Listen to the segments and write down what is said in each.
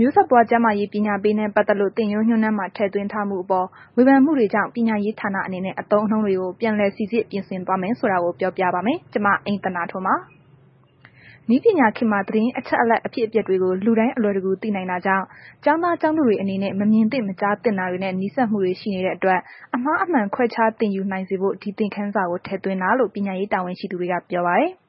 မျိုးဆက်ပွား ကျန်းမာရေးပညာပေးနဲ့ ပတ်သက်လို့ သင်ရိုးညွှန်းတမ်းမှာ ထည့်သွင်းထားမှုအပေါ် ဝေဖန်မှုတွေကြောင့် ပညာရေးဌာနအနေနဲ့ အသုံးအနှုန်းတွေကို ပြန်စိစစ်ပြင်ဆင်သွားမယ်ဆိုတာကို ဗွီအိုအေမြန်မာပိုင်းသတင်းထောက် မအိမ့်သန္တာထွန်းက ပြောပြပါမယ်။ နည်းပညာခေတ်မှာ သတင်းအချက်အလက် အဖြစ်အပျက်တွေကို လူတိုင်းအလွယ်တကူ သိနိုင်တာကြောင့် ကျောင်းသားကျောင်းသူတွေအနေနဲ့ မမြင်သင့်မကြားသင့်တာတွေနဲ့ နီးစပ်မှုတွေ ရှိနေတဲ့အတွက် အမှားအမှန်ခွဲခြား သင်ယူနိုင်စေဖို့ ဒီသင်ခန်းစာကို ထည့်သွင်းတာလို့ ပညာရေးတာဝန်ရှိသူတွေက ပြောပါတယ်။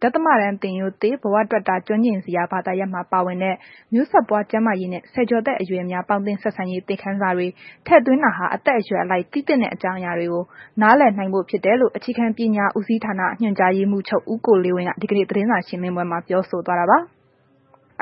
ဒသမတန်းသင်ရိုးသစ် ဘဝတွက်တာ ကျွမ်းကျင်စရာ ဘာသာရပ်မှာ ပါဝင်တဲ့ မျိုးဆက်ပွားကျန်းမာရေးနှင့် ဆယ်ကျော်သက်အရွယ်များ ပေါင်းသင်းဆက်ဆံရေး သင်ခန်းစာတွေ ထည့်သွင်းတာဟာ အသက်အရွယ်အလိုက်သိသင့်တဲ့ အကြောင်းအရာတွေကို နားလည်နိုင်ဖို့ ဖြစ်တယ်လို့ အခြေခံပညာဦးစီးဌာန ညွှန်ကြားရေးမှုးချုပ် ဦးကိုလေးဝင်းက ဒီကနေ့ သတင်းစာရှင်းလင်းပွဲမှာ ပြောဆိုသွားတာပါ။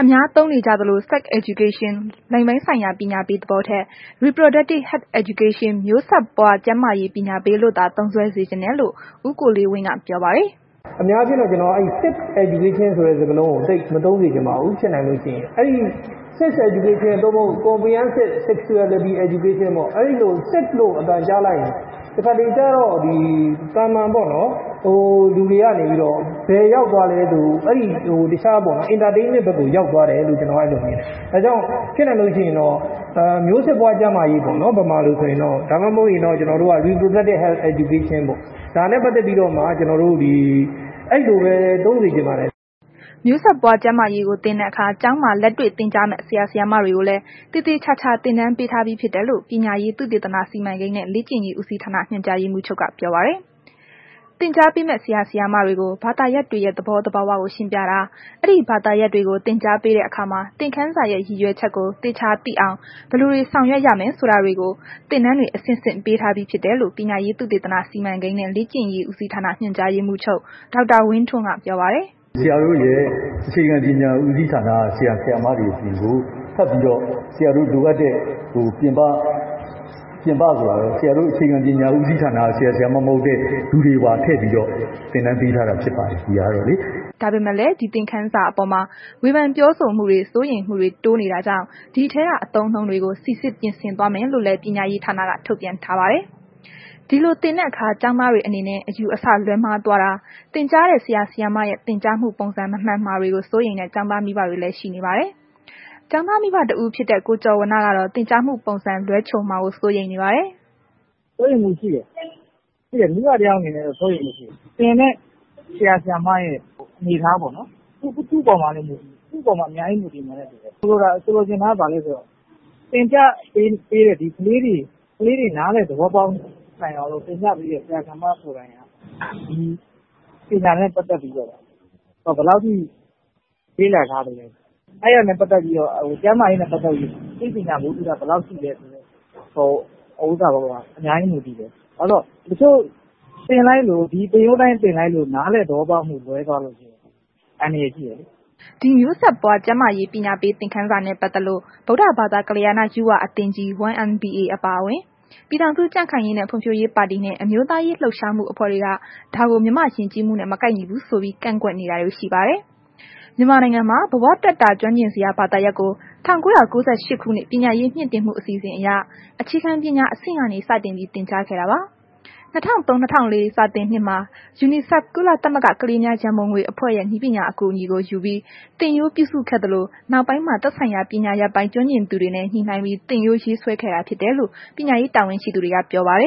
အများသုံးနေကြသလို Sex Education လိင်ပိုင်းဆိုင်ရာ ပညာပေးသဘောထက်၊ Reproductive health Education မျိုးဆက်ပွား ကျန်းမာရေးပညာပေးလို့သာ သုံးစွဲစေချင်တယ်လို့ ဦးကိုလေးဝင်းက ပြောပါတယ်။ “အများပြောတဲ့ အဲ့ဒီ sex education ဆိုတဲ့ စကားလုံးကို သိပ်မသုံးစေချင်ပါဘူး။ ဖြစ်နိုင်လို့ရှိရင် အဲ့ဒီ Sex Education ပေ့ါ၊ အဲ့ဒီလို Sex လို့ အသံကြားလိုက်ရင် တခါတစ်လေကျတော့ ဒီသာမန်ပေါ့နော်။ လူတွေက နေပြီးတော့ ဘယ်ရောက်သွားလဲဆို အဲ့ဒီဟို တခြား Entertainment ဘက်ကို ရောက်သွားတယ်လို့ ကျနော်ကတော့ မြင်တယ်။ ဒါကြောင့် ဖြစ်နိုင်လို့ ရှိရင်တော့ မျိုးဆက်ပွားကျန်းမာရေးပေါ့နော်။ ဗမာလိုဆိုရင်တော့ ဒါမှမဟုတ်လို့ရှိရင်တော့ ကျနော်တို့က Reproductive Education ပေါ့နော်။ ဒါနဲ့ပတ်သက်ပြီးတော့မှ ကျနော်တို့ အဲလိုပဲ သုံးစေချင်ပါတယ်။” မျိုးဆက်ပွားကျန်းမာရေးကို သင်တဲ့အခါ ကျောင်းမှာ လက်တွေ့သင်ကြားမယ့် ဆရာ၊ ဆရာမတွေကိုလည်း သေသေချာချာ သင်တန်းပေးထားပြီးဖြစ်တယ်လို့ ပညာရေး သုတေသန စီမံကိန်းနဲ့ လေ့ကျင့်ရေးဦးစီးဌာန ညွှန်ကြားရေးမှုးချုပ်က ပြောပါတယ်။ သင်ကြားပေးမယ့် ဆရာဆရာမတွေကို ဘာသာရပ်တွေရဲ့ သဘောသဘာဝတွေကို ရှင်းပြတာ၊ အဲ့ဒီဘာသာရပ်တွေကို သင်ကြားပေးတဲ့ အခါမှာ သင်ခန်းစာရဲ့ ရည်ရွယ်ချက်ကို သေချာသိအောင် ဘယ်လိုတွေဆောင်ရွက်ရမယ် ဆိုတာတွေကို သိအောင် သင်တန်းတွေ အဆင့်ဆင့် ပေးထားပြီးဖြစ်တယ်လို့ ပညာရေး သုတေသန စီမံကိန်းနဲ့ လေ့ကျင့်ရေးဦးစီးဌာန ညွှန်ကြားရေးမှူးချုပ် ဒေါက်တာဝင်းထွန်းက ပြောပါတယ်။ “ဆရာတို့ရဲ့ အခြေခံပညာ ဦးစီးဌာနက ဆရာဆရာမတွေအပြင်ကို ထပ်ပြီးတော့ ဆရာတို့လိုအပ်တဲ့ ဟို ပြင်ပ၊ ပြင်ပဆိုတာက ဆရာတို့ အခြေခံပညာဦးစီးဌာနက ဆရာ၊ဆရာမ မဟုတ်တဲ့ လူတွေပါထည့်ပြီးတော့ သင်တန်းပေးထားတာဖြစ်ပါတယ်။ ဒီဟာကတော့လေ။” ဒါပေမဲ့လည်း ဒီသင်ခန်းစာအပေါ်မှာ ဝေဖန်ပြောဆိုမှုတွေ စိုးရိမ်မှုတွေတိုးနေတာကြောင့် ဒီထဲက အသုံးအနှုန်းတွေကို စိစစ် ပြင်ဆင်သွားမယ်လို့ ပညာရေးဌာနက ထုတ်ပြန်ထားပါတယ်။ ဒီလို သင်တဲ့အခါ ကျောင်းသားတွေအနေနဲ့ အယူအဆလွဲမှားသွားတာ၊ သင်ကြားတဲ့ဆရာဆရာမရဲ့ သင်ကြားမှု ပုံစံမမှန်မှာတွေကို စိုးရိမ်တဲ့ ကျောင်းသားမိဘတွေလည်း ရှိနေပါတယ်။ ကျောင်းသားမိဘ တဦးဖြစ်တဲ့ ကိုကျော်ဝဏ္ဏကတော့ သင်ကြားမှုပုံစံ လွဲချော်မှာကို စိုးရိမ်ပါတယ်။ “စိုးရိမ်မှု ရှိတယ်။ မိဘတစ်ယောက်အနေနဲ့ကတော့ စိုးရိမ်မှုရှိတယ်။ သင်တဲ့ ဆရာဆရာမရဲ့ အနေအထားပေါ့နော်။ သူအပေါ်မှာ အများကြီး မူတည်မယ်။ ဆိုလိုချင်တာက ဘာလဲဆိုတော့ ကလေးတွေ နားလည်သဘောပေါက်အောင်လို့ သင်ပြပေးတဲ့ ဆရာ ဆရာမ ကိုယ်တိုင်က ဒီပညာနဲ့ ပတ်သက်ပြီးတော့ ဘယ်လောက်ထိ လေ့လာထားသလဲ၊ အဲ့ဒါနဲ့ ပတ်သက်ပြီး ကျန်းမာရေးနဲ့ ပတ်သက်ပြီးဘယ်လောက်ထိ အသိပညာ ဗဟုသုတ ရှိသလဲ ဆိုတာအပေါ်မှာ အများကြီး မူတည်တယ်။ ဘာဖြစ်လို့လဲဆိုတော့ တချို့ ဒီသင်ရိုးအတိုင်းသင်လိုက်လို့ တခြား နားလည်သဘောပေါက်မှု လွဲသွားလို့ရှိရင် အန္တရာယ်ရှိတယ်။” ဒီမျိုးဆက်ပွားကျန်းမာရေး ပညာပေးသင်ခန်းစာနဲ့ပတ်သက်လို့ ဗုဒ္ဓဘာသာ ကလျာဏယုဝအသင်းကြီး အပါအဝင် ပြည်ထောင်စုကြံ့ခိုင်ရေးနဲ့ ဖွံ့ဖြိုးရေးပါတီနဲ့ အမျိုးသားရေးလှုပ်ရှားမှုအဖွဲ့တွေက ဒါကို မြန်မာယဉ်ကျေးမှုနဲ မကိုက်ညီဘူးဆိုပြီး ကန့်ကွက်မှုတွေ ရှိနေပါတယ်။ မြန်မာနိုင်ငံမှာ ဘဝတွက်တာ ကျွမ်းကျင်စရာ ဘာသာရပ်ကို ၁၉၉၈ ခုနှစ် ပညာရေးမြင့်တင်မှုအစီအစဉ် အရ အခြေခံပညာအဆင့်ကနေ စတင်ပြီး သင်ကြားခဲ့တာပါ။ ၂၀၀၃-၂၀၀၄ စာသင်နှစ်မှာ UNICEF ကုလသမဂ္ဂ ကလေးများရန်ပုံငွေအဖွဲ့ရဲ့ နည်းပညာအကူအညီယူပြီး သင်ရိုးပြုစုခဲ့သလို၊ နောက်ပိုင်းမှာ သက်ဆိုင်ရာပညာရပ်ဆိုင်ရာ ကျွမ်းကျင်သူတွေနဲ့ ညှိနှိုင်းပြီး သင်ရိုးရေးဆွဲခဲ့တာဖြစ်တယ်လို့ ပညာရေးတာဝန်ရှိသူတွေက ပြောဆိုပါတယ